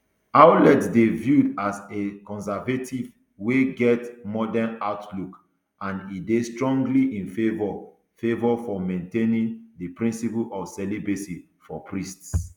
ouellet dey viewed as a conservative wey get modern outlook and e dey strongly in favour favour of maintaining di principle of celibacy for priests